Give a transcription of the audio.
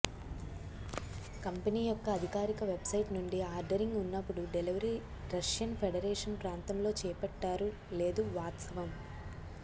company యొక్క అధికారిక website నుండి ఆర్దరింగ్ ఉన్నప్పుడు డెలివరీ రష్యన్ ఫెడరేషన్ ప్రాంతములో చేపట్టారు లేదు వాస్తవం